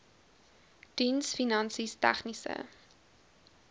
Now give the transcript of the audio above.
diens finansies tegniese